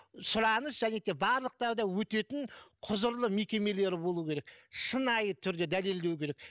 сұраныс және де барлықтары да өтетін құзырлы мекемелері болуы керек шынайы түрде дәлелдеу керек